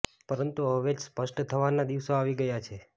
પરંતુ હવે જ સ્પષ્ટ થવાના દિવસો આવી ગયા છે